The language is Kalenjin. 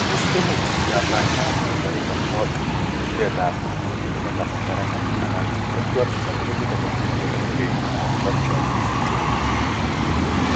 Tos imuch kiyaptaita ano mionitok bo bitetab kunyutik eng' kasarta nenwach anan intellectual disability developmental delay contractures syndrome?